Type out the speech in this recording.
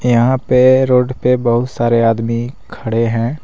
यहां पे रोड पे बहुत सारे आदमी खड़े हैं।